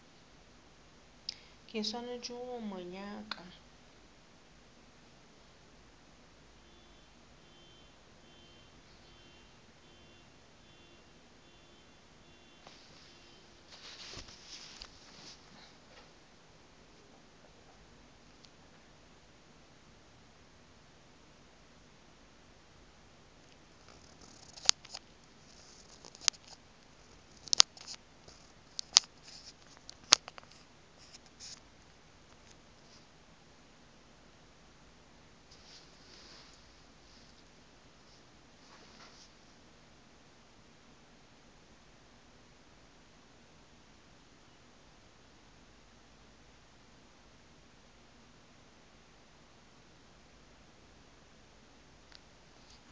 ke swanetše go mo nyaka